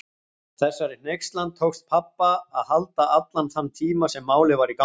Þessari hneykslan tókst pabba að halda allan þann tíma sem Málið var í gangi.